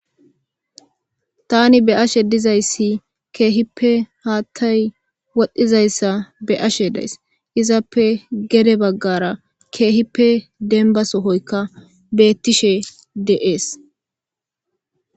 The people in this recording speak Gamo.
tani be ashe dizayssi keehippe haattay wodhdhizayssa be ashe days izappe gede baggara keehippe denba sohoyka beettishe de7ees